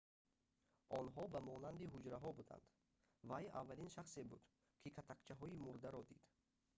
онҳо ба монанди ҳуҷраҳо буданд вай аввалин шахсе буд ки катакчаҳои мурдаро дид